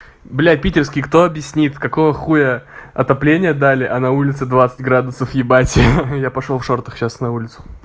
блядь питерский кто объяснит какого хуя отопление дали а на улице двадцать градусов ебать я пошёл в шортах сейчас на улицу